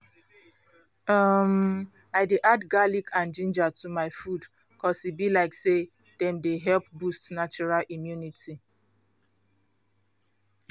umm i dey add garlic and ginger to my food cause e be like say dem dey help boost natural immunity